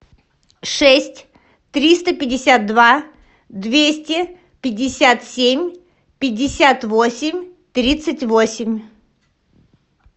шесть триста пятьдесят два двести пятьдесят семь пятьдесят восемь тридцать восемь